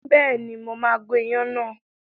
Bẹ́ẹ̀ni, mo máa gun ìyàn náà.